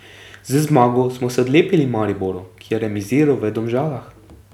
Z zmago smo se odlepili Mariboru, ki je remiziral v Domžalah.